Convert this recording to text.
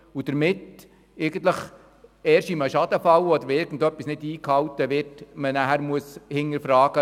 Somit muss man die Situation erst im Schadenfall oder bei Nichteinhaltung von Bestimmungen genauer untersuchen.